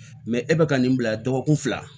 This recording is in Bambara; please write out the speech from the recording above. e bɛ ka nin bila dɔgɔkun fila